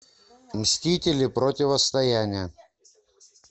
мстители противостояние